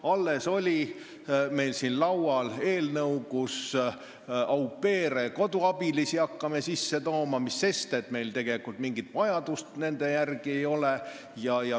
Alles oli meil siin laual eelnõu, et me saaksime hakata au pair'e ehk koduabilisi sisse tooma, mis sest, et meil tegelikult mingit vajadust nende järele ei ole.